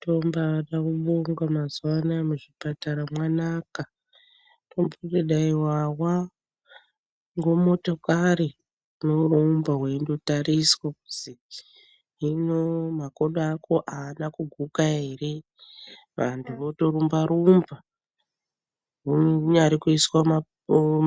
Tombada kubonga mazuwa anaya mwuzvipata mwanaka. Tomboti dai wawa ngomotokari wotorumba weindotariswa kuzi hino makodo ako haana kuguka here. Vantu votorumba rumba. Kunyari kuiswa